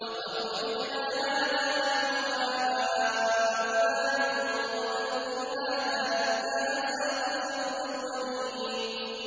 لَقَدْ وُعِدْنَا هَٰذَا نَحْنُ وَآبَاؤُنَا مِن قَبْلُ إِنْ هَٰذَا إِلَّا أَسَاطِيرُ الْأَوَّلِينَ